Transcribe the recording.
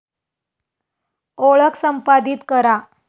ओळख संपादीत करा